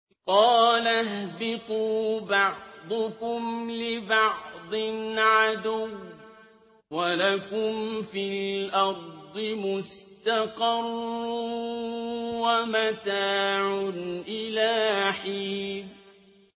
قَالَ اهْبِطُوا بَعْضُكُمْ لِبَعْضٍ عَدُوٌّ ۖ وَلَكُمْ فِي الْأَرْضِ مُسْتَقَرٌّ وَمَتَاعٌ إِلَىٰ حِينٍ